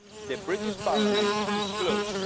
the British Parliament is closed.